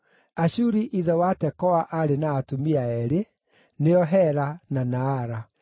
Ashuri ithe wa Tekoa aarĩ na atumia eerĩ, nĩo Hela na Naara.